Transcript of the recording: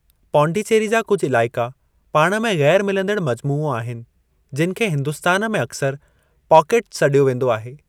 पडोचरी जा कुझ इलाइक़ा पाण में ग़ैरु मिलंदड़ मजमूओ आहिनि, जिनि खे हिन्दुस्तान में अक्सर 'पाकेटु' सॾियो वेंदो आहे।